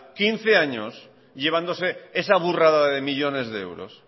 quince años llevándose esa burrada de millónes de euros